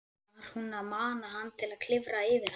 Var hún að mana hann til að klifra yfir hana?